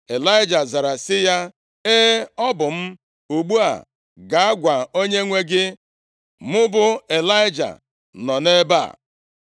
Ịlaịja zara sị ya, “E, ọ bụ m. Ugbu a gaa gwa onyenwe gị, ‘mụ bụ Ịlaịja nọ nʼebe a.’ ”